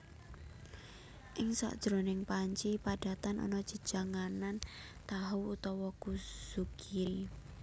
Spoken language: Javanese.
Ing sajroning panci padatan ana jejanganan tahu utawa kuzukiri